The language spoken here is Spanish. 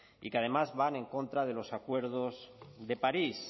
y que además van en contra de los acuerdos de parís